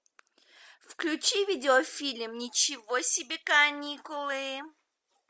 включи видеофильм ничего себе каникулы